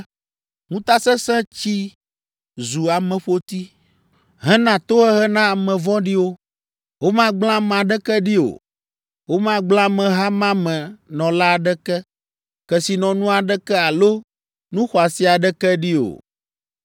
Ŋutasesẽ tsi zu ameƒoti hena tohehe na ame vɔ̃ɖiwo. Womagblẽ ame aɖeke ɖi o; womagblẽ ameha ma me nɔla aɖeke, kesinɔnu aɖeke alo nu xɔasi aɖeke ɖi o.